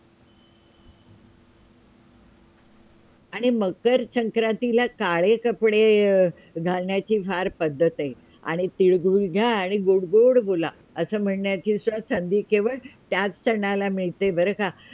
आणि मकर संक्रांतीला काळे कपडे घालण्याची फार पद्धत आहे आणि लिळगूळ घ्या आणि गोड गोड बोला. असे म्हणण्याची संधी केवळ त्याच सणाला मिळते बरं का?